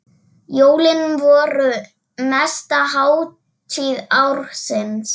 Jólin voru mesta hátíð ársins.